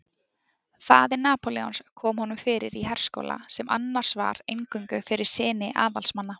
Faðir Napóleons kom honum fyrir í herskóla sem annars var eingöngu fyrir syni aðalsmanna.